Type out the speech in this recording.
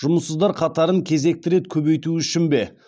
жұмыссыздар қатарын кезекті рет көбейту үшін бе